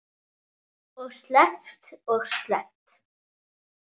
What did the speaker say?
Og sleppt og sleppt.